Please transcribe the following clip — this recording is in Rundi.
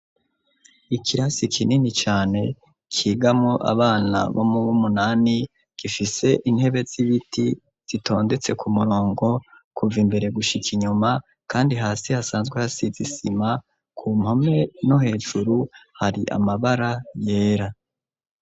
Ikirasi kinini cane kigamo abana bo mubo umunani gifise intebe z'ibiti zitondetse ku murongo kuva imbere gushika inyuma, kandi hasi hasanzwe hasizisima ku mpome no hejuru hari amabara yera.